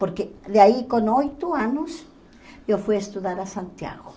Porque daí com oito anos eu fui estudar a Santiago.